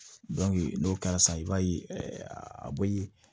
n'o kɛra sisan i b'a ye a bɛ